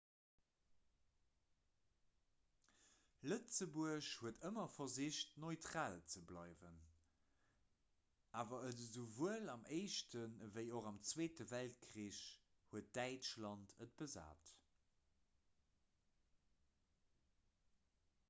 lëtzebuerg huet ëmmer versicht neutral ze bleiwen awer et esouwuel am éischten ewéi och am zweete weltkrich huet däitschland et besat